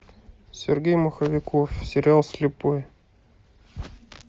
сергей маховиков сериал слепой